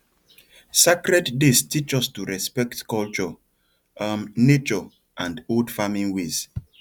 sacred days teach us to respect culture um nature and old farming ways